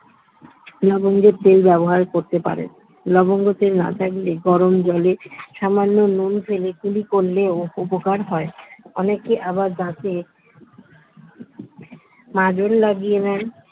লবঙ্গের তেল ব্যবহার করতে পারেন লবঙ্গের তেল না থাকলে গরম জলে সামান্য নুন ফেলে কুলি করলেও উপকার হয় অনেকে আবার দাঁতে মাজন লাগিয়ে নেন